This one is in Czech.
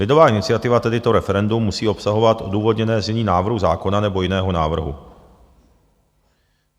Lidová iniciativa, tedy to referendum, musí obsahovat odůvodněné znění návrhu zákona nebo jiného návrhu.